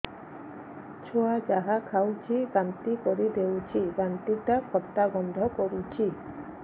ଛୁଆ ଯାହା ଖାଉଛି ବାନ୍ତି କରିଦଉଛି ବାନ୍ତି ଟା ଖଟା ଗନ୍ଧ କରୁଛି